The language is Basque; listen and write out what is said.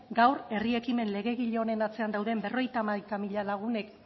gaur herri ekimen legegile honen atzean dauden berrogeita hamaika mila lagunek